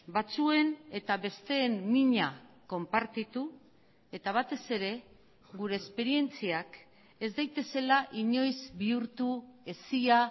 batzuen eta besteen mina konpartitu eta batez ere gure esperientziak ez daitezela inoiz bihurtu hesia